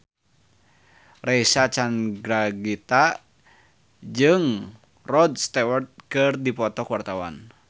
Reysa Chandragitta jeung Rod Stewart keur dipoto ku wartawan